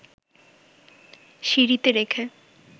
সিঁড়িতে রেখে